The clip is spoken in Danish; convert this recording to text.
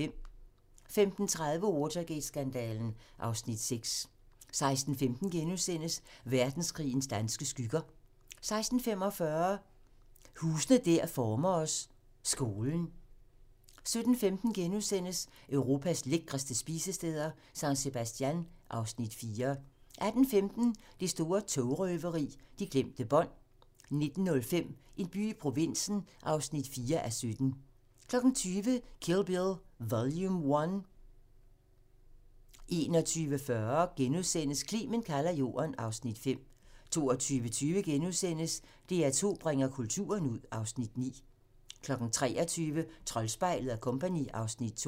15:30: Watergate-skandalen (Afs. 6) 16:15: Verdenskrigens danske skygger * 16:45: Huse der former os: Skolen 17:15: Europas lækreste spisesteder - San Sebastian (Afs. 4)* 18:15: Det store togrøveri – de glemte bånd 19:05: En by i provinsen (4:17) 20:00: Kill Bill Vol. 1 21:40: Clement kalder Jorden (Afs. 5)* 22:20: DR2 bringer kulturen ud (Afs. 9)* 23:00: Troldspejlet & Co. (Afs. 2)